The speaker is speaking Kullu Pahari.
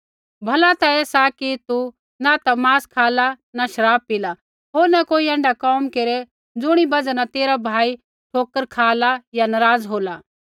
भला ता ऐ सा कि न तू मांस खाला होर न शराब पिला होर न कोई ऐण्ढा कोम केरै ज़ुणी बजहा न तेरा भाई ठोकर खाला या नराज़ होला